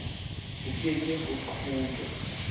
ho ke ke ha qojwa